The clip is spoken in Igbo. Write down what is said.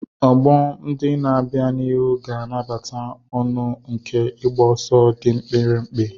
Ọgbọ ndị na-abịa n'ihu ga-anabata ọṅụ nke ịgba ọsọ dị mkpirikpi.